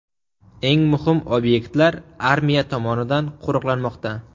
Eng muhim obyektlar armiya tomonidan qo‘riqlanmoqda.